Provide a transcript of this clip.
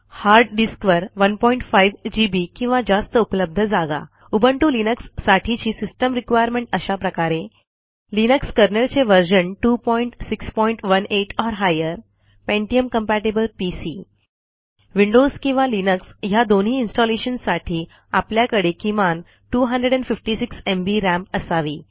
hard डिस्कवर 15 GB किंवा जास्त उपलब्ध जागा उबुंटू लिनक्स साठीची सिस्टम रिक्वायरमेंट अशा प्रकारे लिनक्स कर्नेल चे version 2618 or higher pentium compatible PC Windows किंवा लिनक्स ह्या दोन्ही इन्स्टॉलेशन साठी आपल्याकडे किमान 256 एमबी राम असावी